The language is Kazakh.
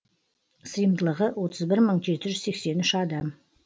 сыйымдылығы отыз бір мың жеті жүз сексен үш адам